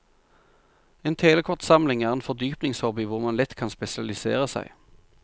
En telekortsamling er en fordypningshobby hvor man lett kan spesialisere seg.